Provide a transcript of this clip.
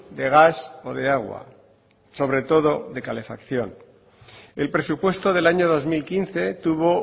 de gas o de agua sobre todo de calefacción el presupuesto del año dos mil quince tuvo